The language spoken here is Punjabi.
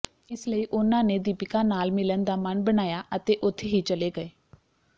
ਇਸ ਲਈ ਉਨ੍ਹਾਂ ਨੇ ਦੀਪਿਕਾ ਨਾਲ ਮਿਲਣ ਦਾ ਮਨ ਬਣਾਇਆ ਅਤੇ ਉੱਥੇ ਹੀ ਚੱਲੇ ਗਏ